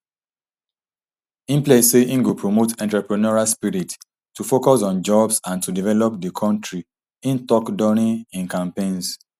im pledge say im go promote entrepreneurial spirit to focus on jobs and to develop di kontri im tok during im campaigns